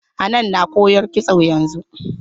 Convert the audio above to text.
Hanan na koyar kitso yanzu.